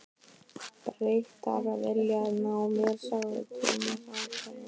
Bretar vilja ná mér sagði Thomas ákveðinn.